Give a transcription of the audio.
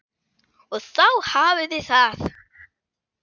Og þá hafiði það!